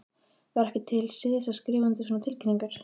Var ekki til siðs að skrifa undir svona tilkynningar?